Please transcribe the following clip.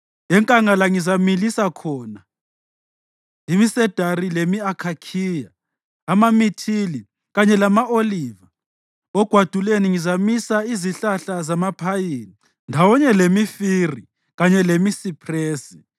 Enkangala ngizamilisa khona imisedari lemi-akhakhiya, amamithili kanye lama-oliva. Ogwaduleni ngizamisa izihlahla zamaphayini, ndawonye lemifiri kanye lemisiphresi,